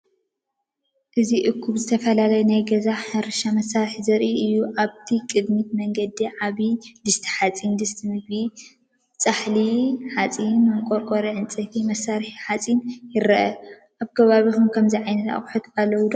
እዚ እኩብ ዝተፈላለዩ ናይ ገዛን ሕርሻን መሳርሒታት ዘርኢ እዩ። ኣብቲ ቀዳማይ መንገዲ፡ ዓቢ ድስቲ ሓጺን ፡ ድስቲ ምግቢ፡ ጻሕሊ ሓጺን፡ መንኮርኮር ዕንጨይቲ፡ መሳርሒታት ሓጺን ይረአ። ኣብ ከባቢኩም ከምዚ ዓይነት ኣቅሓታት ኣለውኩም ዶ?